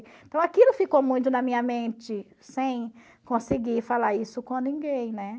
Então, aquilo ficou muito na minha mente, sem conseguir falar isso com ninguém, né?